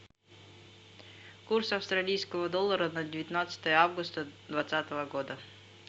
курс австралийского доллара на девятнадцатое августа двадцатого года